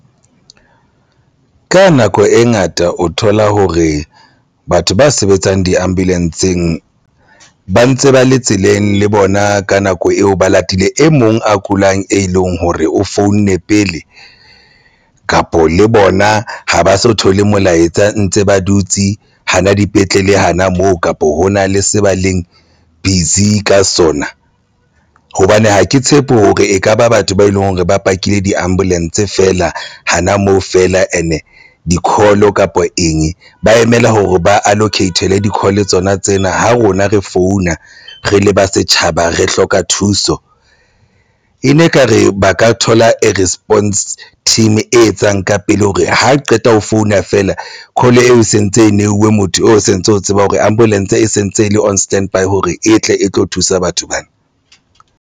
Ka nako e ngata o thola hore batho ba sebetsang diambulancea-ng ba ntse ba le tseleng le bona ka nako eo ba latile e mong a kulang, e leng hore o founne pele kapa le bona ha ba so thole molaetsa ntse ba dutse hana dipetlele hana moo kapa hona le se ba leng busy ka sona hobane ha ke tshepe hore ekaba batho ba eleng hore ba pakile diambulance feela hana moo feela and di-call kapa eng ba emela hore ba allocate-le di-call tsona tsena ha rona re founa re leba setjhaba re hloka thuso. E ne ekare ba ka thola e response team. E etsang ka pele hore ha qeta ho founa fela. Call e sentse e neuwe motho o sentse o tsebang hore ambulance e sentse e le on standby hore e tle e tlo thusa batho bana.